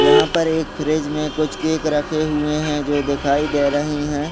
यहाँ पर एक फ्रिज में कुछ केक रखे हुए है जो दिखाई दे रहे हैं।